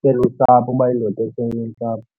belusapho uba yindoda esenosapho.